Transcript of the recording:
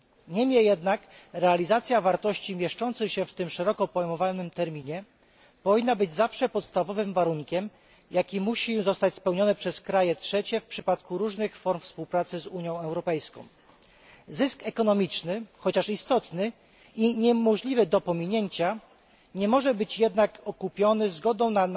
Niemniej jednak realizacja wartości mieszczących się w tym szeroko pojmowanym terminie powinna być zawsze podstawowym warunkiem, jaki musi zostać spełniony przez kraje trzecie w przypadku różnych form współpracy z Unią Europejską. Zysk ekonomiczny chociaż istotny i niemożliwy do pominięcia nie może być jednak okupiony zgodą na